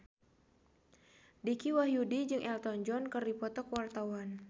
Dicky Wahyudi jeung Elton John keur dipoto ku wartawan